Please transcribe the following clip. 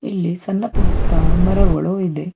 ಇಲ್ಲಿ ಸಣ್ಣ ಪುಟ್ಟ ಮರಗಳು ಇದೆ.